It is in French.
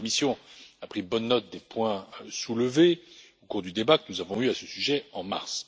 La Commission a pris bonne note des points soulevés au cours du débat que nous avons eu à ce sujet au mois de mars.